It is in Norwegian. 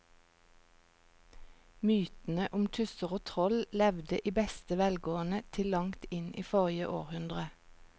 Mytene om tusser og troll levde i beste velgående til langt inn i forrige århundre.